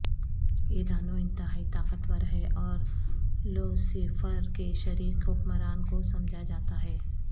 یہ دانو انتہائی طاقتور ہے اور لوسیفر کے شریک حکمران کو سمجھا جاتا ہے